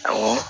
Awɔ